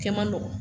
Kɛ man nɔgɔn